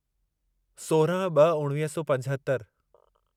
सोरहं ब॒ उणिवीह सौ पंजहतरि